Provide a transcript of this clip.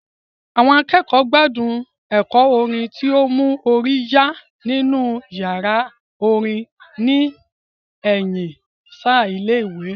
Àwọn akẹ́kọ̀ọ́ gbádùn ẹ̀kọ́ orin tó mú orí yá nínú yàrá orin ní ẹ̀yìn ṣáá ilé ìwé